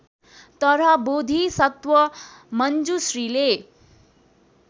तर बोधिसत्व मञ्जुश्रीले